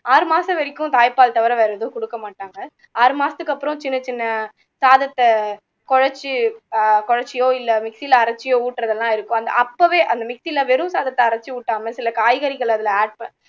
ஆறு மாசம் வரைக்கும் தாய்ப்பால் தவிர வேற எதுவும் கொடுக்க மாட்டாங்க ஆறு மாசத்துக்கு அப்பறம் சின்ன சின்ன சாதத்தை குழச்சு குழச்சியோ mixer ல அரைச்சியோ ஊட்டுறதெல்லாம் இருக்கும் அந்த் அப்போவே அந்த mixer யில வெறும் சாதத்தை அரைச்சு ஊட்டாம சில காய்கறிகளை அதுல add பண்